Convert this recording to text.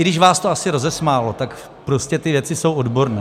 I když vás to asi rozesmálo, tak prostě ty věci jsou odborné.